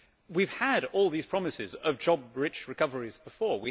We have had all these promises of job rich recoveries before.